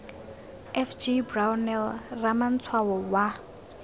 f g brownell ramatshwao wa